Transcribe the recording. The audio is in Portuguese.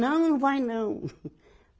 Não, não vai não.